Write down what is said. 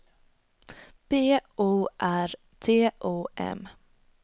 B O R T O M